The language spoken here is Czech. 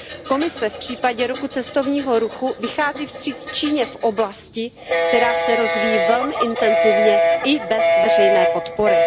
Komise v případě roku cestovního ruchu vychází vstříc Číně v oblasti, která se rozvíjí velmi intenzivně i bez veřejné podpory.